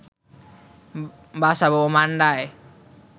বাসাবো ও মান্ডায়